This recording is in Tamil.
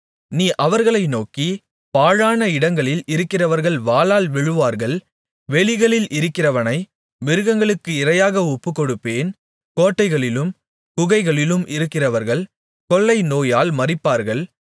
நீ அவர்களை நோக்கி பாழான இடங்களில் இருக்கிறவர்கள் வாளால் விழுவார்கள் வெளிகளில் இருக்கிறவனை மிருகங்களுக்கு இரையாக ஒப்புக்கொடுப்பேன் கோட்டைகளிலும் குகைகளிலும் இருக்கிறவர்கள் கொள்ளைநோயால் மரிப்பார்கள்